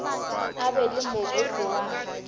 a be le mogopo wa